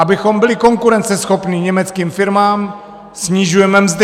Abychom byli konkurenceschopní německým firmám, snižujeme mzdy.